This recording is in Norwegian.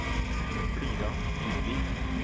Frida Dybvik